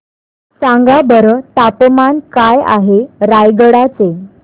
सांगा बरं तापमान काय आहे रायगडा चे